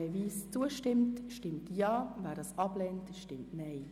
Wer dem Antrag zustimmt, stimmt Ja, wer diesen ablehnt, stimmt Nein.